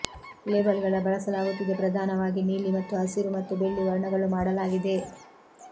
ಲೇಬಲ್ಗಳ ಬಳಸಲಾಗುತ್ತಿದೆ ಪ್ರಧಾನವಾಗಿ ನೀಲಿ ಮತ್ತು ಹಸಿರು ಮತ್ತು ಬೆಳ್ಳಿ ವರ್ಣಗಳು ಮಾಡಲಾಗಿದೆ